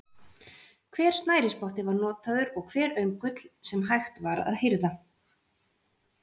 Hver snærisspotti var notaður og hver öngull sem hægt var að hirða.